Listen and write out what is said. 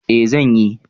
Eh, zan yi.